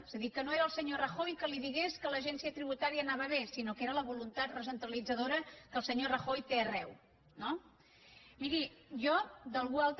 és a dir que no era el senyor rajoy que li digués que l’agència tributària anava bé sinó que era la voluntat recentralitzadora que el senyor rajoy té arreu no miri jo d’algú altre